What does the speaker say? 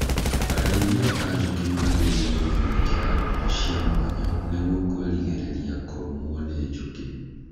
Arĩithia a njũkĩ magĩrĩirwo nĩ gwĩkĩra nguo cia mwanya nĩguo kwĩrigĩrĩria kũrũmwo nĩ njũkĩ.